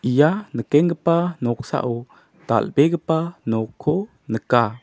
ia nikenggipa noksao dal·begipa nokko nika.